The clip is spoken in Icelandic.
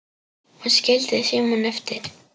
Og skildi símann eftir?